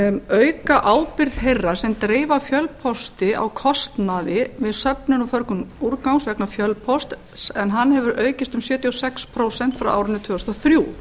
auka ábyrgð þeirra sem dreifa fjölpósti á kostnaði við söfnun og förgun úrgangs vegna fjölpósts en hann hefur aukist um sjötíu og sex prósent frá árinu tvö þúsund og þrjú